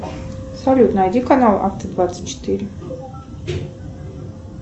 салют найди канал авто двадцать четыре